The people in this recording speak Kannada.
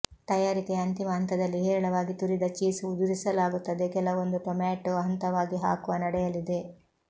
ತಯಾರಿಕೆಯ ಅಂತಿಮ ಹಂತದಲ್ಲಿ ಹೇರಳವಾಗಿ ತುರಿದ ಚೀಸ್ ಉದುರಿಸಲಾಗುತ್ತದೆ ಕೆಲವೊಂದು ಟೊಮ್ಯಾಟೋ ಹಂತವಾಗಿ ಹಾಕುವ ನಡೆಯಲಿದೆ